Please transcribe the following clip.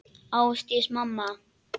Ásdís mamma.